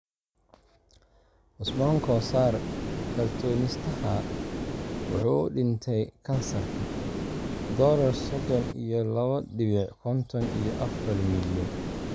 Cusman kosar Kartoonistaha (wuxuu u dhintay kansarka): dolar sodon iyo labo dibic konton iyo afar milyan